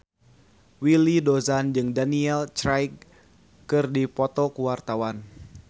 Willy Dozan jeung Daniel Craig keur dipoto ku wartawan